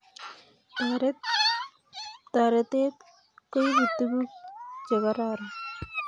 Toretet kuibu tuguk Che kororon